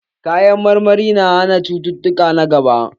Kayan marmari na hana cututtuka na gaba.